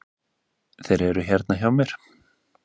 Þeir eru hérna hjá mér.